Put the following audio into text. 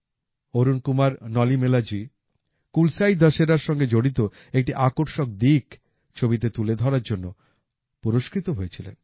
অরুণ কুমার নলিমেলাজি কুলসাই দশেরার সঙ্গে জড়িত একটি আকর্ষক দিক ছবিতে তুলে ধরার জন্য পুরস্কৃত হয়েছিলেন